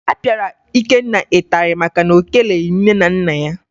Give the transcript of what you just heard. A pịara Ikenna ịtarị maka na o keleghi nne na nna ya